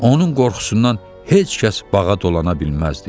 Onun qorxusundan heç kəs bağa dolana bilməzdi.